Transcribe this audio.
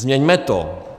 Změňme to.